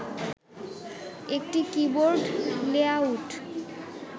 একটি keyboard layout